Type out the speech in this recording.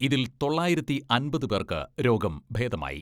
ഇതിൽ തൊള്ളായിരത്തി അമ്പത് പേർക്ക് രോഗം ഭേദമായി.